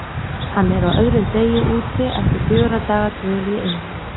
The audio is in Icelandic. Hann er á öðrum degi úti eftir fjögurra daga dvöl í einveru.